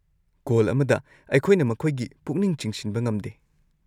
Call ꯑꯃꯗ ꯑꯩꯈꯣꯏꯅ ꯃꯈꯣꯏꯒꯤ ꯄꯨꯛꯅꯤꯡ ꯆꯤꯡꯁꯤꯟꯕ ꯉꯝꯗꯦ꯫